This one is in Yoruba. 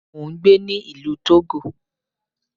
Mo ń gbé ní ìlú Togo.